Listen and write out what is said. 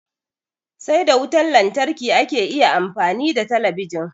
Sai da wutan lantarki ake iya amfani da talabijin